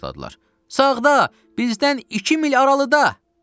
Sağda, bizdən iki mil aralıda!